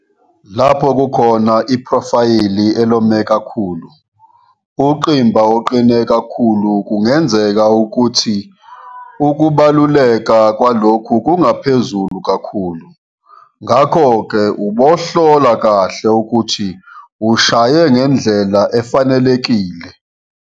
Lapho kukhona iphrofayili elome kakhulu, ungqimba oqine kakhulu kungenza ukuthi ukubaluleka kwalokhu kungaphezulu kakhuIu, ngakhoke ubohlola kahle ukuthi ushaye ngendlela efanelekile.